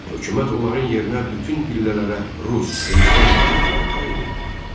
Hökumət onların yerinə bütün pillələrə rus xristian məmurları təyin etdi.